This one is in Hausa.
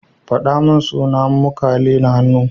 Kafadunmu suna makale da hannu